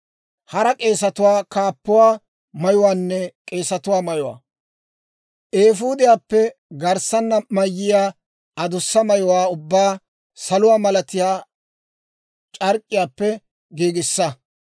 «Eefuudiyaappe garssanna mayiyaa adussa mayuwaa ubbaa saluwaa malatiyaa c'ark'k'iyaappe giigissa.